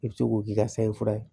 I bɛ se k'o k'i ka saɲɛ fura ye